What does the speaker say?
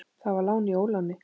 Það var lán í óláni.